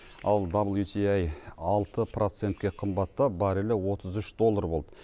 ал даблютиаи алты процентке қымбаттап баррелі отыз үш доллар болды